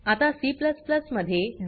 आता C मध्ये do